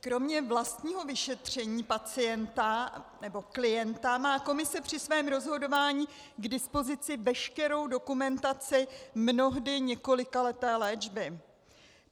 Kromě vlastního vyšetření pacienta nebo klienta má komise při svém rozhodování k dispozici veškerou dokumentaci mnohdy několikaleté léčby.